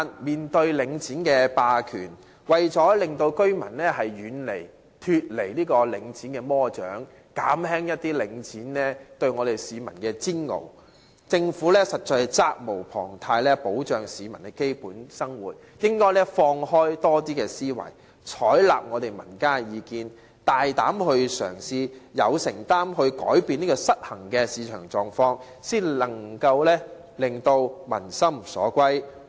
面對領展霸權，為了令居民可以脫離領展的魔掌，減輕領展對市民的煎熬，政府實在責無旁貸，需要保障市民的基本生活，應該開放思維，採納民間意見，大膽嘗試有承擔地扭轉市場的失衡狀況，這樣才可以令民心歸向政府。